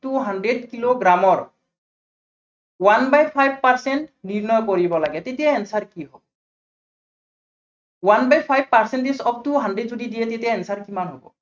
two hundred kilo গ্ৰামৰ one by five percent নিৰ্ণয় কৰিব লাগে, তেতিয়া answer কি হব hundred five percentage টো hundred যদি দিয়ে তেতিয়া answer কিমান হব।